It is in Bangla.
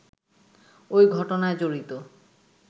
ওই ঘটনায় জড়িত